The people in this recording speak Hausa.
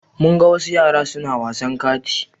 Mun ga wasu yara suna wasan kati.